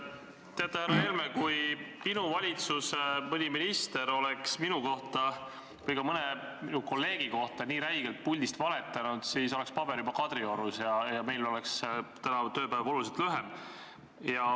Teate, härra Helme, kui mõni minu valitsuse minister oleks minu või ka mõne minu kolleegi kohta nii räigelt puldist valetanud, siis oleks paber juba Kadriorus ja meil oleks tänane tööpäev oluliselt lühem.